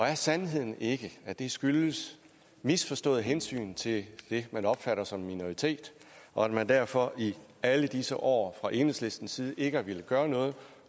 er sandheden ikke at det skyldes misforstået hensyn til det man opfatter som en minoritet og at man derfor i alle disse år fra enhedslistens side ikke har villet gøre noget